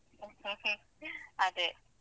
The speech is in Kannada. ಹ್ಮ್ ಹ್ಮ್ ಅದೇ.